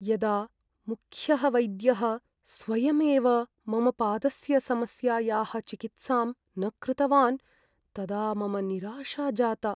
यदा मुख्यः वैद्यः स्वयमेव मम पादस्य समस्यायाः चिकित्सां न कृतवान् तदा मम निराशा जाता।